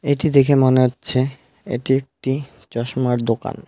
এটি দেখে মনে হচ্ছে এটি একটি চশমার দোকান।